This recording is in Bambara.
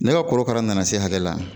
Ne ka korokara nana se hakɛ la